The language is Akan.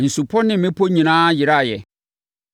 Nsupɔ ne mmepɔ nyinaa yeraeɛ.